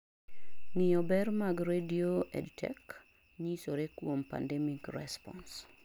ngiyo ber mag radio EDTech nyisore kuom Pandemic Response